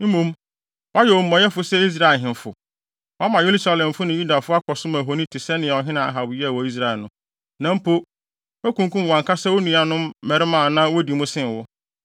Mmom, woayɛ omumɔyɛfo sɛ Israel ahemfo. Woama Yerusalemfo ne Yudafo akɔsom ahoni te sɛnea ɔhene Ahab yɛɛ wɔ Israel no. Na mpo, woakunkum wʼankasa wo nuanom mmarima a na wodi mu sen wo.